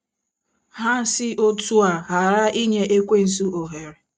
Ha si otú a ghara ‘ inye Ekwensu ohere. ’